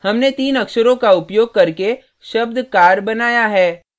हमने तीन अक्षरो का उपयोग करके शब्द car बनाया है